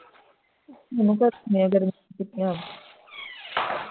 ਮੈਨੂੰ ਗਰਮੀ ਦੀ ਛੁਟਿਆ